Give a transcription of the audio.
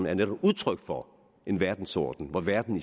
er netop udtryk for en verdensorden hvor verden